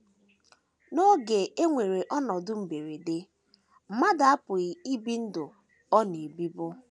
N’oge e nwere ọnọdụ mberede, mmadụ apụghị ibi ndụ ọ “ na - ebibu. ”